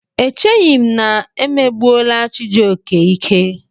Echeghị m na megbuola Chijioke ike.